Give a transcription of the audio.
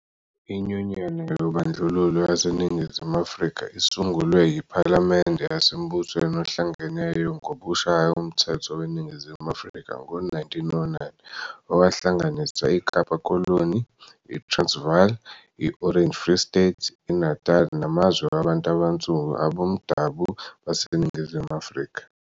iNyunyana yoBandlululo yaseNingizumu Afrika isungulwe yiPhalamende yaseMbusweni Ohlangeneyo ngokushaya uMthetho weNingizimu Afrika ngo-1909 owahlanganisa iKapa Koloni, iTransvaal, i-Orange Free State, iNatali namazwe wabantu abansundu abomdabu baseNingizimu Afrika.